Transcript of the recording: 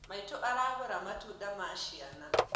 Maitũ aragũra matunda ma ciana